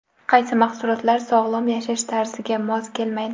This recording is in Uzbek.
Qaysi mahsulotlar sog‘lom yashash tarziga mos kelmaydi?.